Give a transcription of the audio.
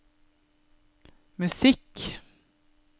musikk